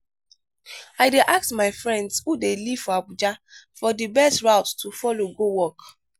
i dey ask my friends who dey live for abuja for di best route to folow go work.